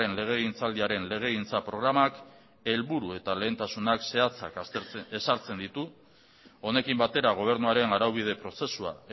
legegintzaldiaren legegintza programak helburu eta lehentasunak zehatzak ezartzen ditu honekin batera gobernuaren araubide prozesua